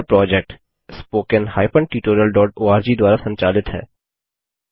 यह project httpspoken tutorialorg द्वारा संचालित है